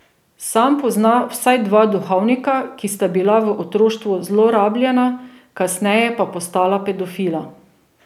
Sam pozna vsaj dva duhovnika, ki sta bila v otroštvu zlorabljena, kasneje pa postala pedofila.